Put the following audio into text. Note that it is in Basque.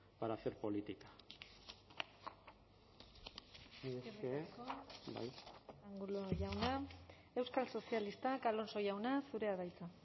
para hacer política mila esker angulo jauna euskal sozialistak alonso jauna zurea da hitza